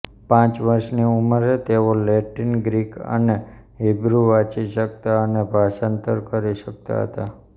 પાંચ વર્ષની ઉંમરે તેઓ લૅટિન ગ્રીક અને હિબ્રૂ વાંચી શકતા અને ભાષાંતર કરી શકતા હતા